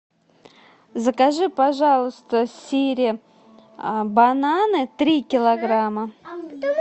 закажи пожалуйста сири бананы три килограмма